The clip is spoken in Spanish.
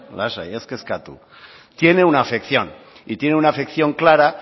lasai ez kezkatu tiene una afección y tiene una afección clara